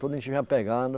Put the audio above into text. Tudo a gente vinha pegando.